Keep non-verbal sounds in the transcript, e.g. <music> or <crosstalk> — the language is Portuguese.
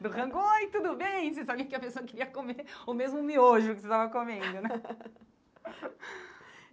do Rango oi, tudo bem, você sabia que a pessoa queria comer o mesmo miojo que você estava comendo, né? <laughs>